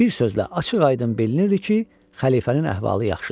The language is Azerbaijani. Bir sözlə, açıq-aydın bilinirdi ki, xəlifənin əhvalı yaxşıdır.